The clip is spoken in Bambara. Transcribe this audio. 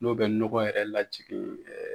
N'o bɛ nɔgɔ yɛrɛ lajigin .